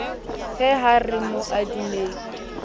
he ha re mo adimeng